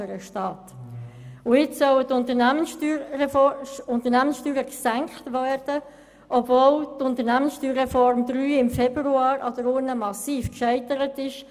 Jetzt sollen die Unternehmenssteuern gesenkt werden, obwohl die USR III im Februar 2017 an der Urne massiv scheiterte.